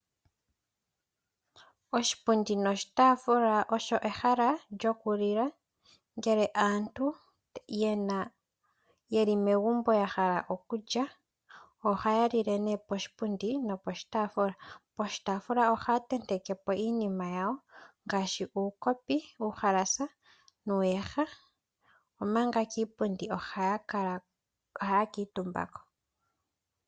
Oshipundi noshitaafula osho ehala lyokulila. Ngele aantu yeli megumbo ya hala okulya ohaya lile nee poshipundi noposhitaafula. Poshitaafula ohaya tenteke po iinima yawo ngaashi uukopi, uuhalasa nuuyaha omanga kiipundi ohaya kuutumba ko.